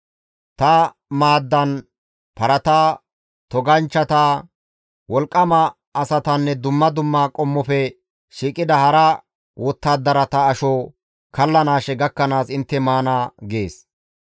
Ta maaddan parata, toganchchata, wolqqama asatanne dumma dumma qommofe shiiqida hara wottadarata asho kallanaashe gakkanaas intte maana› gees.